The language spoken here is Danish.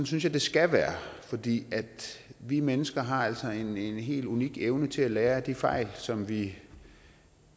synes jeg det skal være fordi vi mennesker altså har en en helt unik evne til at lære af de fejl som vi